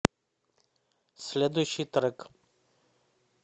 следующий трек